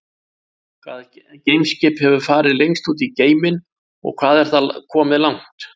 Hvaða geimskip hefur farið lengst út í geiminn og hvað er það komið langt?